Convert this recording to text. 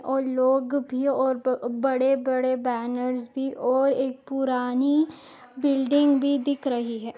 और लोग भी और बड़े बड़े बेनर्स भी और एक पुरानी बिल्डिंग भी दिख रही है।